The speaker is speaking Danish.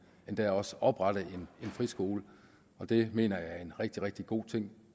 endda også oprette en friskole og det mener jeg er en rigtig rigtig god ting